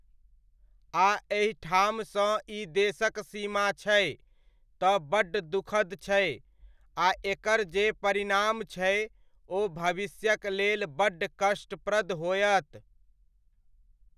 आ एहिठामसँ ई देशक सीमा छै तऽ बड्ड दुःखद छै आ एकर जे परिणाम छै ओ भविष्यक लेल बड्ड कष्टप्रद होयत।